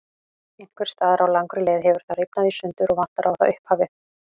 Einhvers staðar á langri leið hefur það rifnað í sundur og vantar á það upphafið.